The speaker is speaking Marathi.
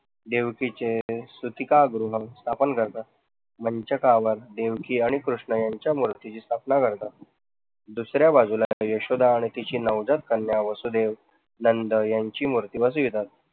देवकीचे सुटिका गृह स्थापन करतात, मंचकावर देवकी आणि कृष्ण यांच्या मूर्तीची स्थापना करतात, दुसऱ्या बाजूला यशोदा आणि तिची कन्या वासुदेव नंद यांची मूर्ती बसवितात.